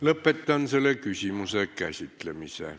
Lõpetan selle küsimuse käsitlemise.